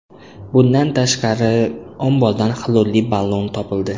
Bundan tashqari, ombordan xlorli ballon topildi.